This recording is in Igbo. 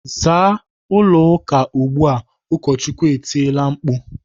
"Zaa ụlọ ụka ugbu a!" Ụkọchukwu etiela mkpu.